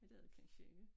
Det ved jeg kansje ikke